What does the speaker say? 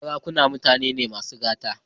Sarakunan mutane ne masu gata.